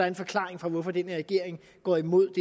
en forklaring på hvorfor den her regering går imod